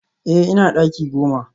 Eh ina daki goma